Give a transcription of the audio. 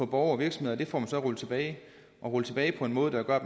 borgere og virksomheder får man rullet tilbage og rullet tilbage på en måde der gør at